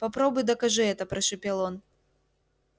попробуй докажи это прошипел он